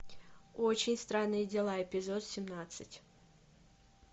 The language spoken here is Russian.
очень странные дела эпизод семнадцать